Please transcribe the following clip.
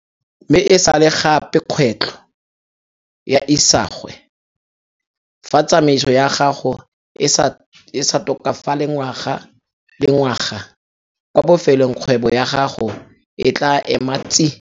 Mme e sa le gape kgwetlho ya isagwe - fa tsamaiso ya gago e sa tokafale ngwaga le ngwaga - kwa bofelong kgwebo ya gago e tlaa ema tsi!